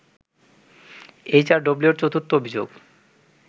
এইচআরডব্লিউর চতুর্থ অভিযোগ